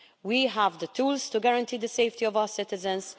We have the tools to guarantee the safety of our citizens